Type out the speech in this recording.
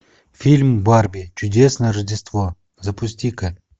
фильм барби чудесное рождество запусти ка